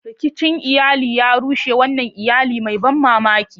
Rikicin iyali ya rushe wannan iyali mai ban mamaki.